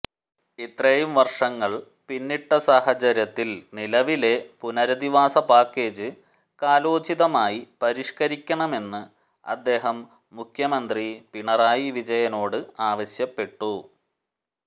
ഇത്രയും വർഷങ്ങൾ പിന്നിട്ട സാഹചര്യത്തിൽ നിലവിലെ പുനരധിവാസ പാക്കേജ് കാലോചിതമായി പരിഷ്ക്കരിക്കണമെന്ന് അദ്ദേഹം മുഖ്യമന്ത്രി പിണറായി വിജയനോട് ആവശ്യപ്പെട്ടു